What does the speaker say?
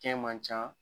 Kɛ man ca